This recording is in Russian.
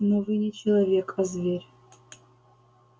но вы не человек а зверь